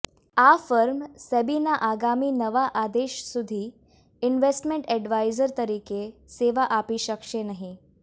આ ફર્મ સેબીના આગામી નવા આદેશ સુધી ઇન્વેસ્ટમેન્ટ એડવાઇઝર તરીકે સેવા આપી શકશે નહીં